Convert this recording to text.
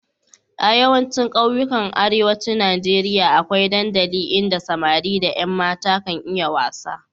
A yawaicin ƙauyukan Arewacin Najeriya akwai dandali inda samari da ƴan mata kan yi wasa.